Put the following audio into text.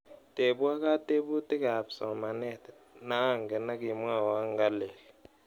Tepwa kateputikab somanet naangen akimwawa ngalel..